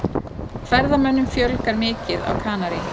Ferðamönnum fjölgar mikið á Kanarí